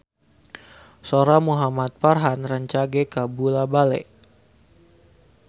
Sora Muhamad Farhan rancage kabula-bale